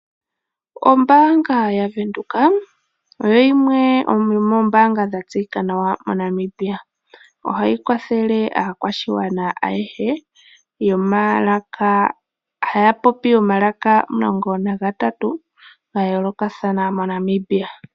Ombaanga ya Venduka oyo yimwe yomoombaanga dha tseyika nawa mo Namibia. Ohayi kwathele aakwashigwana ayehe haya popi omalaka omulongo nagatatu ga yoolokathana mo Namibia.